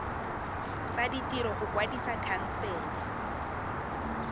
tsa ditiro go kwadisa khansele